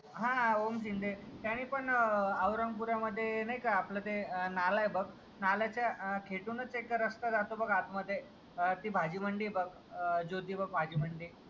हां ओम शिंदे त्याने पण औरंगपुरा मध्ये नाही ना आपला ते नाला आहे नाल्याचा खेचूनच एक रास्ता जातो बघ आत मध्ये. ती भाजी मंडई बघ ज्योतिबा भाजी मंडई.